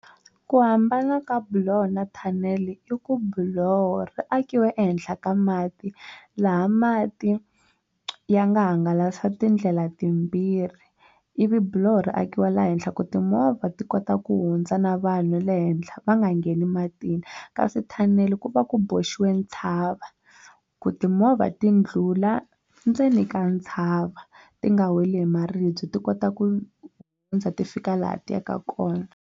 Ku hambana ka buloho na thanele i ku buloho ri akiwa ehenhla ka mati laha mati ya nga hangalasa tindlela timbirhi ivi biloho ri akiwa laha henhla ku timovha ti kota ku hundza na vanhu le henhla va nga ngheni matini kasi thanele ku va ku boxiwile ntshava ku timovha ti ndlhula ndzeni ka ntshava ti nga weli hi maribye ti kota ku ti fika laha ti yaka kona.